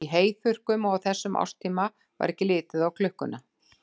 Í heyþurrkum og á þessum árstíma var ekki litið á klukkuna.